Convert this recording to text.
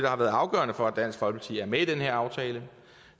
har været afgørende for at dansk folkeparti er med i den her aftale